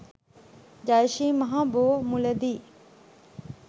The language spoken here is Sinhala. ජය ශ්‍රී මහා බෝ මුල දී